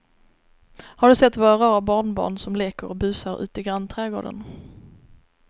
Har du sett våra rara barnbarn som leker och busar ute i grannträdgården!